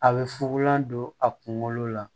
A bɛ fugulan don a kunkolo la